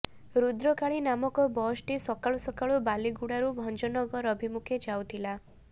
ରୁଦ୍ରକାଳୀ ନାମକ ବସଟି ସକାଳୁ ସକାଳୁ ବାଲିଗୁଡାରୁ ଭଞ୍ଜନଗର ଅଭିମୁଖେ ଯାଉଥିଲା